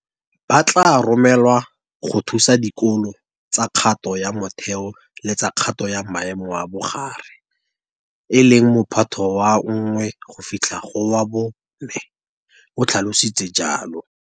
Ba tla romelwa go thusa dikolo tsa kgato ya motheo le tsa kgato ya maemo a bogare, e leng Mo phato wa 1 go fitlha go wa 4, o tlhalositse jalo.